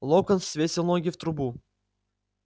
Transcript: локонс свесил ноги в трубу